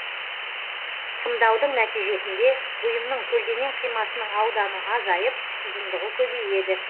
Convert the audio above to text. сымдаудың нәтижесінде бүйымның көлденең қимасының ауданы азайып ұзындығы көбейеді